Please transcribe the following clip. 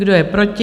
Kdo je proti?